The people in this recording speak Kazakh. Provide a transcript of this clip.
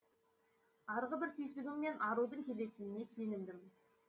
арғы бір түйсігіммен арудың келетініне сенімдімін